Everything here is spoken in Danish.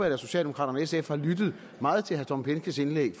at socialdemokraterne og sf har lyttet meget til herre tom behnkes indlæg